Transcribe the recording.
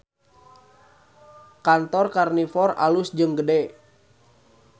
Kantor Karnivor alus jeung gede